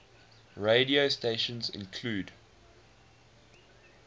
radio stations include